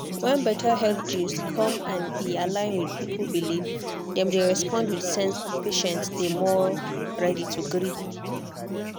when better health gist come and e align with people belief dem dey respond with sense and patients dey more ready to gree.